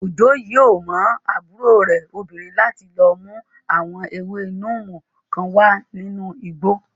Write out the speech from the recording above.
Òjó yóò rán àbúrò rẹ̀ obìnrin láti lọ mú àwọn ewé níìmù kan wá nínú igbó